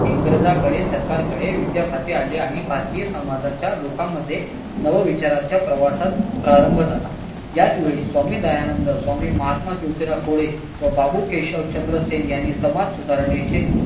इंग्रजांकडे सरकारकडे आले आणि भारतीय समाजाच्या लोकांमध्ये नवं विचारांच्या प्रवासात प्रारंभ झाला याचवेळी स्वामी दयानंद, स्वामी महात्मा ज्योतिराव फुले व बाबू केशव चंद्र सेन यांनी समाज सुधरणायचे